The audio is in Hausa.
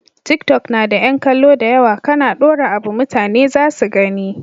Tiktok na da yan kallo dayawa kAna dora abu mutane zasu gani